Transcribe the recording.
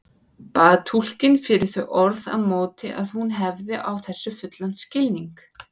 Bað túlkinn fyrir þau orð á móti að hún hefði á þessu fullan skilning.